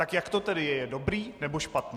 Tak jak to tedy je - je dobrý, nebo špatný?